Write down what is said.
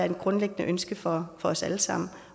et grundlæggende ønske for os alle sammen